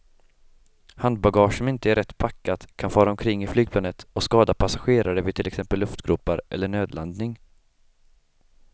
Handbagage som inte är rätt packat kan fara omkring i flygplanet och skada passagerare vid till exempel luftgropar eller nödlandning.